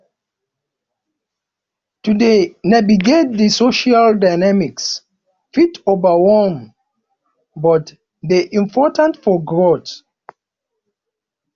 to dey navigate di social dynamics fit overwhelm but dey important for growth